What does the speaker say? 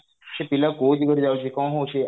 ସେ ପିଲା କଉ ଦିଗରେ ଯାଉଛି କଣ ହଉଛି